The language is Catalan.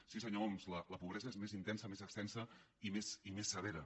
sí senyor homs la pobresa és més intensa més extensa i més severa